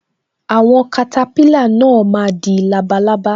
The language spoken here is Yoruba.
Àwọn katapila náà má di labalábá